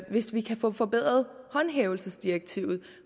hvis vi kan få forbedret håndhævelsesdirektivet